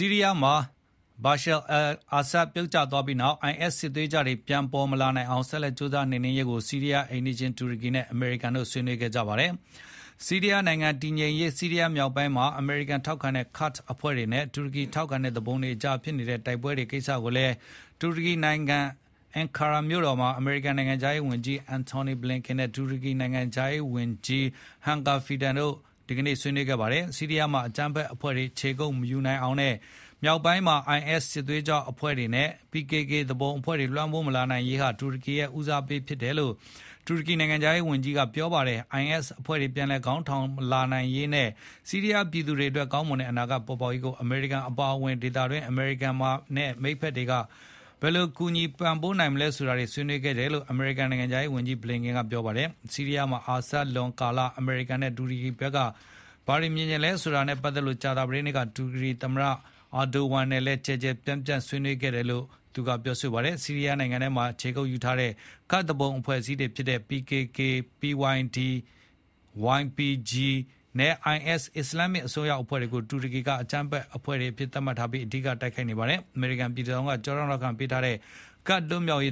ီးရီးယားမှာ Bashar-al Assad အစိုးရ ပြုတ်ကျသွားပြီးနောက် IS စစ်သွေးကြွတွေ ပြန်လည် ပေါ်ထွက်မလာနိုင်အောင် ဆက်လက် ကြိုးစားနှိမ်နင်းရေးကို ဆီးရီးယားအိမ်နီးချင်း တူရကီနဲ့ အမေရိကန်တို့ ဆွေးနွေးခဲ့ကြပါတယ်၊ ဆီးရီးယားနိုင်ငံ တည်ငြိမ်ရေး၊ ဆီးရီးယားမြောက်ပိုင်းမှာ အမေရိကန်ထောက်ခံတဲ့ Kurd အဖွဲ့တွေနဲ့ တူရကီထောက်ခံတဲ့ သူပုန်တွေကြား ဖြစ်နေတဲ့ တိုက်ပွဲတွေကိစ္စကိုလည်း တူရကီနိုင်ငံ Ankara မြို့တော်မှာ အမေရိကန်နိုင်ငံခြားရေးဝန်ကြီး Antony Blinken နဲ့ တူရကီနိုင်ငံခြားရေးဝန်ကြီး Hakan Fidan တို့ ဒီနေ့ ဆွေးနွေးခဲ့ကြပါတယ်။ ဆီးရီးယားမှာ အကြမ်းဖက်အဖွဲ့တွေ ခြေကုပ်မယူနိုင်အောင်နဲ့ မြောက်ပိုင်းမှာ IS စစ်သွေးကြွအဖွဲ့တွေနဲ့ PKK သူပုန်အဖွဲ့တွေ လွှမ်းမိုးမလာနိုင်ရေးဟာ တူရကီရဲ့ ဦးစားပေးကိစ္စဖြစ်တယ်လို့ တူရကီနိုင်ငံခြားရေး ဝန်ကြီးက ပြောကြားခဲ့ပါတယ်။ IS အဖွဲ့တွေပြန်လည်ခေါင်းထောင်မလာနိုင်ရေးနဲ့ ဆီးရီးယား ပြည်သူတွေအတွက် ကောင်းမွန်တဲ့ အနာဂတ်ပေါ်ပေါက်လာရေးကို အမေရိကန်အပါအဝင် ဒေသတွင်းက အမေရိကန်မိတ်ဖက်တွေအနေနဲ့ ဘယ်လိုပံ့ပိုးကူညီနိုင်မလဲဆိုတာ ဆွေးနွေးခဲ့ကြတယ်လို့ အမေရိကန်ဝန်ကြီး Blinken ကပြောကြားခဲ့ပါတယ်။ ဆီးရီးယားမှာ Assad လွန်ကာလ အမေရိကန်နဲ့ တူရကီဘက်က ဘာတွေမြင်ချင်လဲဆိုတာနဲ့ပတ်သက်လို့ ကြာသပတေးနေ့က တူရကီသမ္မတ Recep Tayyip Erdogan နဲ့ ကျယ်ကျယ်ပြန့်ပြန့် ဆွေးနွေးခဲ့ကြတယ်လို့လည်း သူက ပြောပါတယ်။ ဆီးရီးယားနိုင်ငံထဲမှာ ခြေကုပ်ယူထားတဲ့ ကာ့ဒ်သူပုန်အဖွဲ့အစည်းတွေဖြစ်တဲ့ PKK/PYD/YPG နဲ့ IS အစ္စလာမ်မစ်အစွန်းရောက်အဖွဲ့တွေကို တူရကီက အကြမ်းဖက်အဖွဲ့တွေအဖြစ်သတ်မှတ်ပြီး အဓိကထားတိုက်ခိုက်နေပါတယ်။ အမေရိကန်ပြည်ထောင်စုက ကျောထောက်နောက်ခံပေးထားတဲ့ ကဒ်လွတ်မြောက်ရ